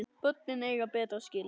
Börnin eiga betra skilið.